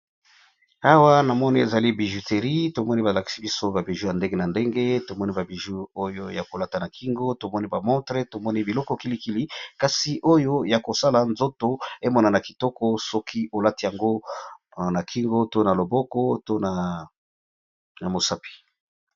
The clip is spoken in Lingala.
Awa namoni ezali bijouterie tomoni balakisi biso ba bijoux yandenge na ndenge oyo yakolata na kingo, misapi pe na ba montre biloko kilikili kazi oyo yakosala nzoto emonana kitoko.